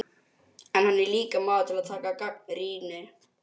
En hann er líka maður til að taka gagnrýni.